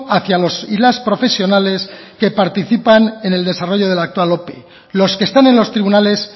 hacia los y las profesionales que participan en el desarrollo de la actual ope los que están en los tribunales